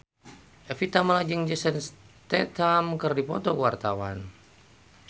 Evie Tamala jeung Jason Statham keur dipoto ku wartawan